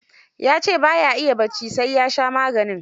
Ya ce ba ya iya bacci sai ua sha maganin.